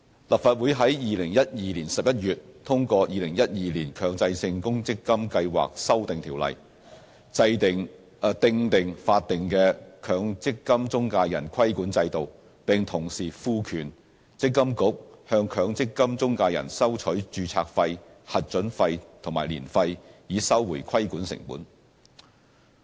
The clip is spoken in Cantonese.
立法會於2012年11月通過《2012年強制性公積金計劃條例》，訂定法定的強積金中介人規管制度，並同時賦權積金局向強積金中介人收取註冊費、核准費和年費，以收回規管成本。